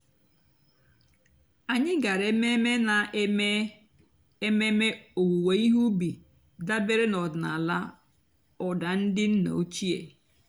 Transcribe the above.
ányị́ gàrà èmèmè nà-èmée èmèmè òwùwé íhé ùbì dàbèré n'ọ̀dị́náàlà ụ́dà ndị́ nná òchíé.